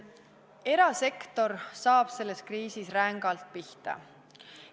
Erasektor saab selles kriisis rängalt pihta.